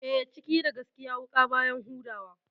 Eh, ciki da gaskiya wuƙa baya huda wa.